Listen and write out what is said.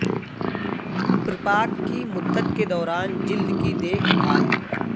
پرپاک کی مدت کے دوران جلد کی دیکھ بھال